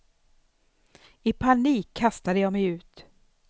I panik kastade jag mig ut.